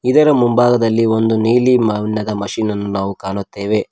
ಇದರ ಮುಂಭಾಗದಲ್ಲಿ ಒಂದು ನೀಲಿ ಬಣದ ಮಷೀನ್ ಅನ್ನು ನಾವು ಕಾಣುತ್ತೇವೆ.